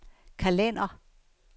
kalender